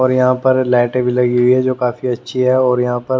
और यहां पर लाइट य भी लगी हुई है जो काफी अच्छी है और यहां पर--